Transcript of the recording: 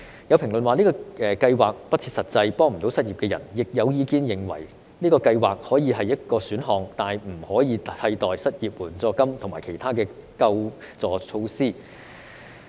有評論指這項計劃不切實際，未能幫助失業人士，亦有意見認為這項計劃可以是一個選項，但不可以替代失業援助金和其他的救助措施。